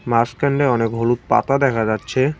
মাসখানে অনেক হলুদ পাতা দেখা যাচ্ছে।